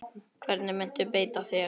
Hvernig muntu beita þér?